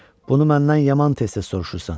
Bunu məndən yaman tez-tez soruşursan.